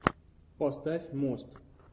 поставь мост